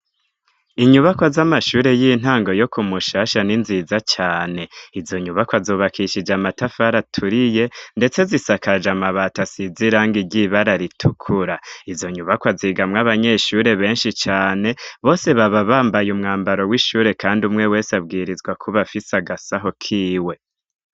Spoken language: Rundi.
Inyubakwa z'amashure y'intango yo ku Mushasha ni nziza cane. Izo nyubakwa zubakishije amatafari aturiye ndetse zisakaje amabati asize irangi ry'ibara ritukura. Izo nyubakwa zigamwo abanyeshure benshi cane, bose baba bambaye umwambaro w'ishure kandi umwe wese abwirizwa kuba afise agasaho kiwe.